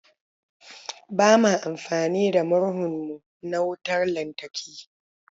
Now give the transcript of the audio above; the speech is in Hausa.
Ba ma amfani da murhun mu na wutar lantarki.